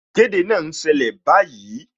Ìkéde náà ń ṣẹlẹ̀ báyìí